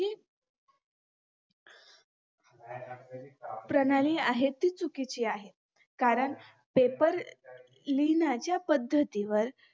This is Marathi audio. प्रणाली आहे ती चुकीची आहे कारण paper लिहण्याच्या पद्धतीवर